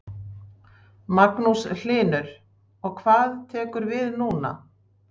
Magnús Hlynur: Og hvað tekur við núna?